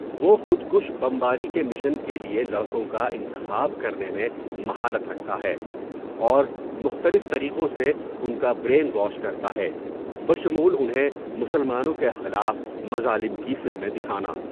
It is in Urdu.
وہ خود کش بمباری کے مشن کے لیے لڑکوں کا انتخاب کرنے میں مہارت رکھتا ہے اور مختلف طریقوں سے ان کا برین واش کرتا ہے، بشمول انہیں مسلمانوں کے خلاف مظالم کی فلمیں دکھانا۔